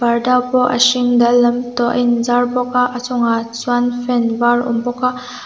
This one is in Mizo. parda pawh a hring dal lam tawh a in zar bawk a a chungah chuan fan var a awm bawk a--